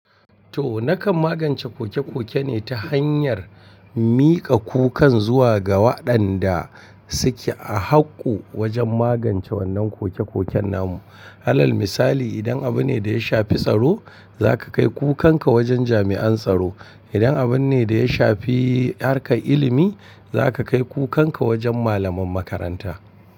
To, nakan magance koke-koke ne ta hanyar mika kukan zuwa ga waɗanda suke a haƙƙu wajen magance wannan koke-koken namu. Halal misali, idan abune da ya shafi tsaro, za ka kai kukanka wajen jami'an tsaro. Idan abune da ya shafi harkar ilimi, za ka kai kukanka wajen malaman makaranta.